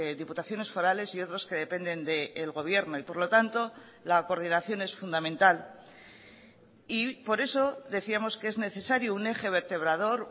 diputaciones forales y otros que dependen del gobierno y por lo tanto la coordinación es fundamental y por eso decíamos que es necesario un eje vertebrador